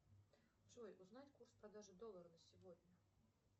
джой узнать курс продажи доллара на сегодня